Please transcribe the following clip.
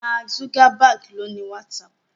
Mark Zuckerberg ló ní WhatsApp